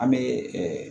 An bɛ